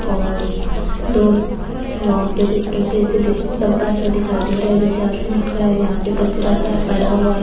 और दो वहा पे कुछ डब्बे से डब्बा सा दिखाई दे रहा है जो चार कोण का है यहाँ पे कचरा सा पड़ा हुआ --